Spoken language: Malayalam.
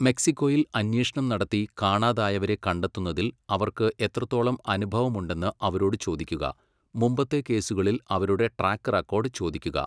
മെക്സിക്കോയിൽ അന്വേഷണം നടത്തി കാണാതായവരെ കണ്ടെത്തുന്നതിൽ അവർക്ക് എത്രത്തോളം അനുഭവമുണ്ടെന്ന് അവരോട് ചോദിക്കുക, മുമ്പത്തെ കേസുകളിൽ അവരുടെ ട്രാക്ക് റെക്കോർഡ് ചോദിക്കുക.